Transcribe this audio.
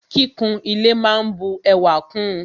Kíkún ile máa n bu ẹwà kún ùn.